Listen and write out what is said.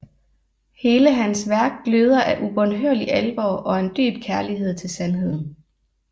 Hele hans værk gløder af ubønhørlig alvor og en dyb kærlighed til sandheden